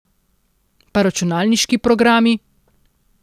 Pa računalniški programi.